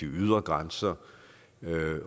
ydre grænser